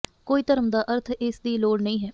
ਕੋਈ ਧਰਮ ਦਾ ਅਰਥ ਇਸ ਦੀ ਲੋੜ ਨਹੀ ਹੈ